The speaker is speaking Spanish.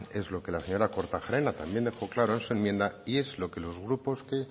es lo que la señora kortajarena también dejó claro en su enmienda y es lo que los grupos que